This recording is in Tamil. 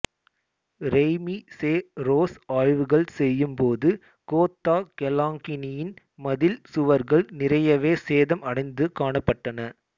ரேய்மி செ ரோஸ் ஆய்வுகள் செய்யும் போது கோத்தா கெலாங்கியின் மதில் சுவர்கள் நிறையவே சேதம் அடைந்து காணப் பட்டன